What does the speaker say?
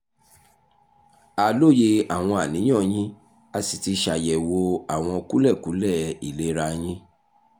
a lóye àwọn àníyàn yín a sì ti ṣàyẹ̀wò àwọn kúlẹ̀kúlẹ̀ ìlera yín